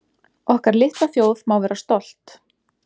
Okkar litla þjóð má vera stolt